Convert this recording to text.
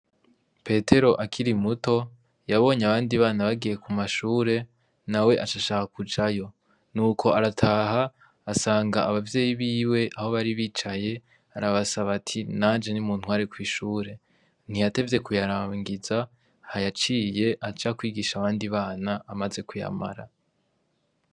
Petero akiri muto yabonye abandi bana bagiye kumashure nawe aca ashaka kujayo nuko arataha asanga abavyeyi biwe aho bari bicaye arabasaba ati nanje nimuntware kwishure ntiyatevye kuyarangiza yaciye aja kwigisha abandi bana amaze kuyamara.